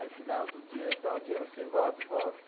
Aí fui lá outro dia, tal dia você volta? Volto.